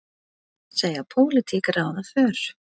Segja pólitík ráða för